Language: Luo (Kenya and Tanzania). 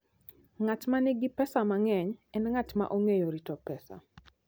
Ng'at ma nigi pesa mang'eny en ng'at ma ong'eyo rito pesa.